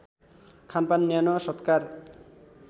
खानपान न्यानो सत्कार